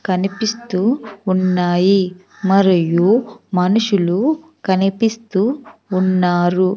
కనిపిస్తూ ఉన్నాయి మరియు మనుషులు కనిపిస్తూ ఉన్నారు.